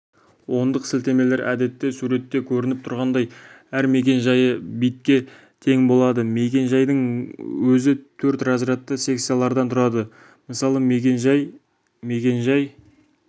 ондық сілтемелер әдетте суретте көрініп тұрғандай әр мекен-жайы битке тең болады мекен-жайдың өзі төрт разрядты секциялардан тұрады мысалы мекен-жай мекен-жай